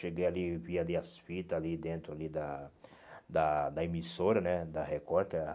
Cheguei ali e vi ali as fitas ali dentro ali da da da emissora né da Record.